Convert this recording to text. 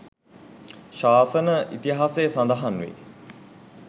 ශාසන ඉතිහාසයේ සඳහන් වේ.